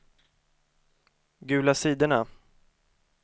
gula sidorna